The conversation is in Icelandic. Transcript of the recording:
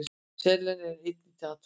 Selen er einnig til athugunar.